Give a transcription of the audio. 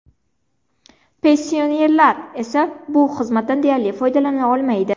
Pensionerlar esa bu xizmatdan deyarli foydalana olmaydi.